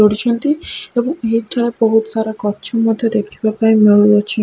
ଉଡିଛନ୍ତି ଏବଂ ବହୁତ ସାର ଗଛ ମଧ୍ଯ ଦେଖିବକୁ ମିଳୁଅଛି।